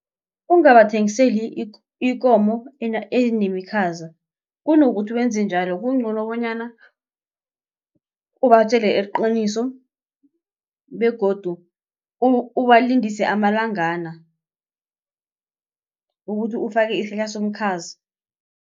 Ungabathengiseli ikomo enemikhaza kunokuthi wenze njalo kungcono bonyana ubatjele iqiniso begodu ubalindise amalangana ukuthi ufake isihlahla somukhazi.